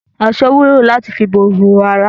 Aṣọ wúlò láti fi bo ihòhò ara.